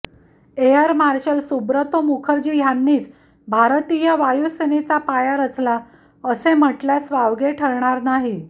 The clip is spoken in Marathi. एयर मार्शल सुब्रतो मुखर्जी ह्यांनीच भारतीय वायुसेनेचा पाया रचला असे म्हटल्यास वावगे ठरणार नाही